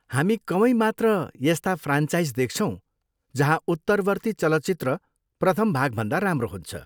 हामी कमै मात्र यस्ता फ्रान्चाइज देख्छौँ जहाँ उत्तरवर्ती चलचित्र प्रथम भागभन्दा राम्रो हुन्छ।